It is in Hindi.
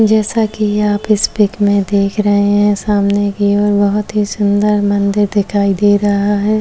जैसा कि आप इस पिक में देख रहे है सामने की ओर बहुत ही सुंदर मंदिर दिखाई दे रहा हैं।